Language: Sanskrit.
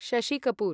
शशि कपूर्